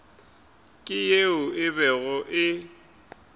ke yeo e bego e